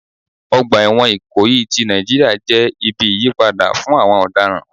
Ọgbà ẹ̀wọ̀n Ikoyi ti Nàìjíríà jẹ́ ibi ìyípadà fún àwọn ọ̀daràn.